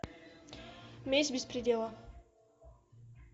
месть без предела